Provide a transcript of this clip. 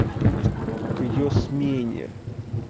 к её смене